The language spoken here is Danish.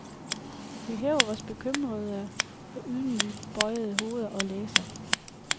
Vi hæver vores bekymrede og ydmygt bøjede hoveder og læser.